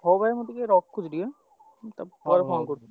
ହଉ ଭାଇ ମୁଁ ଟିକେ ରଖୁଛି ଟିକେ ପରେ phone କରୁଚି।